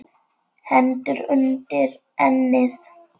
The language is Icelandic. Hendur undir ennið.